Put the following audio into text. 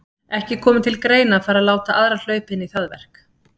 Ekki komi til greina að fara að láta aðra hlaupa inn í það verk.